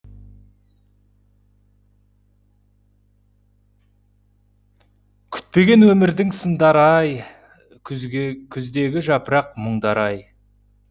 күтпеген өмірдің сындары ай күздегі жапырақ мұңдары ай